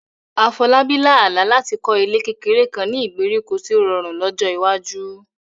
Afolabi lá àlá láti kọ́ ilé kékeré kan ní ìgbèríko tí ó rọrùn lọ́jọ́ iwájú.